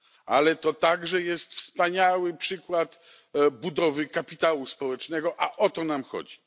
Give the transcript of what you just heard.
Ale to także jest wspaniały przykład budowy kapitału społecznego, a o to nam chodzi.